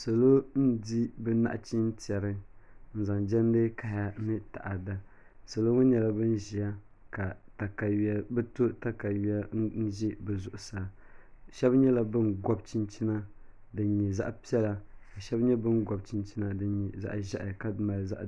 Salo n di bi nachin tiɛri n zaŋ jɛndi kaya ni taada salo salo ŋo nyɛla bin ʒiya ka bi to katawiya n ʒi bi zuɣusaa shab nyɛla bin gobi chinchina din nyɛ zaɣ piɛla ka shab nyɛ bin gobi chinchina din nyɛ zaɣ ʒiɛhi ka mali